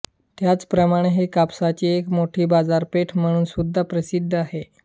त्याचप्रमाणे हे कापसाची एक मोठी बाजारपेठ म्हणूनसुद्धा प्रसिद्ध आहे